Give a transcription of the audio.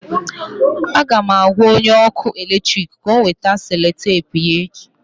M ga-agwa onye ọkụ eletrik ka ọ weta selutepu ya echi